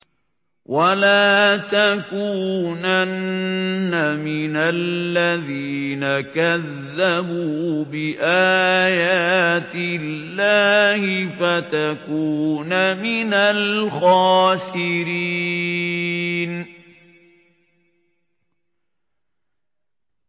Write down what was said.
وَلَا تَكُونَنَّ مِنَ الَّذِينَ كَذَّبُوا بِآيَاتِ اللَّهِ فَتَكُونَ مِنَ الْخَاسِرِينَ